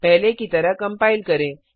पहले की तरह कंपाइल करें